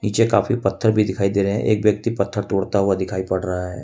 नीचे काफी पत्थर भी दिखाई दे रहे हैं एक व्यक्ति पत्थर तोड़ता हुआ दिखाई पड़ रहा है।